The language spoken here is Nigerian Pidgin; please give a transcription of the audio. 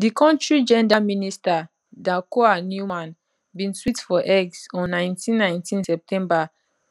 di kontri gender minister dakoa newman bin tweet for x on 19 19 september